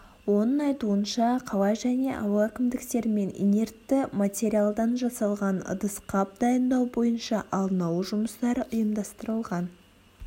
оның айтуынша қала және ауыл әкімдіктерімен инертті материялдан жасалған ыдыс-қап дайындау бойынша алдын алу жұмыстары ұйымдастырылған